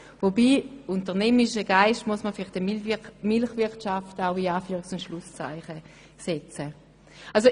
Wobei «unternehmerischer Geist» in Bezug auf die Milchwirtschaft in Anführungs- und Schlusszeichen gesetzt werden muss.